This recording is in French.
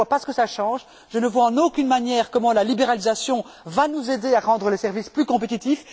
Je ne vois en aucune manière comment la libéralisation va nous aider à rendre les services plus compétitifs.